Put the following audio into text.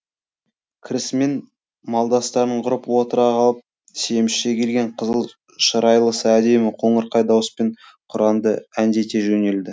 кірісімен малдастарын құрып отыра қалып семізше келген қызыл шырайлысы әдемі қоңырқай дауыспен құранды әндете жөнелді